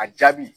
A jaabi